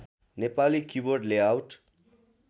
Nepali keyboard layout